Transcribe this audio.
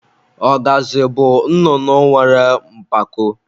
Ọgazị bụ nnụnụ nwere mpako.